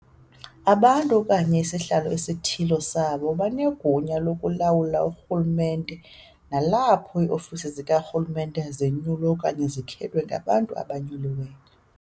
Abantu, okanye isahalo esithile sabo, banegunya lokulawula urhulumente nalapho iiofisi zikarhulumente zinyulwa okanye zikhethwe ngabantu abanyuliweyo.